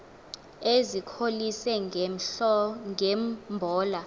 ezikholise nge mbola